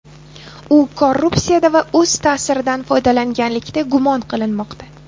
U korrupsiyada va o‘z ta’siridan foydalanganlikda gumon qilinmoqda.